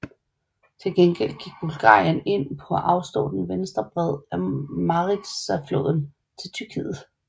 Til gengæld gik Bulgarien ind på at afstå den venstre bred af Maritsafloden til Tyrkiet